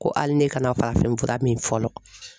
Ko hali ne kana farafin fura min fɔlɔ.